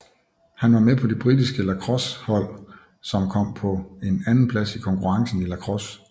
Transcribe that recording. Han var med på det britiske lacrossehold som kom på en andenplads i konkurrencen i lacrosse